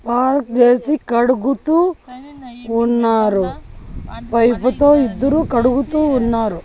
Park చేసి కడుగుతూ ఉన్నారు పైపు తో ఇద్దరు కడుగుతూ ఉన్నారు.